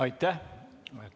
Aitäh!